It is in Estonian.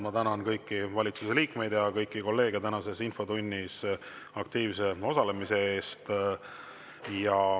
Ma tänan kõiki valitsuse liikmeid ja kõiki kolleege tänases infotunnis aktiivse osalemise eest.